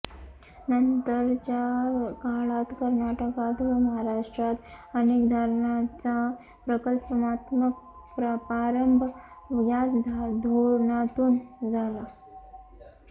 नंतरच्या काळात कर्नाटकात व महाराष्ट्रात अनेक धरणांचा प्रकल्पात्मक प्रारंभ याच धोरणातून झाला